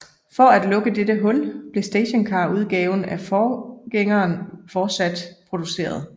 For at lukke dette hul blev stationcarudgaven af forgængeren fortsat produceret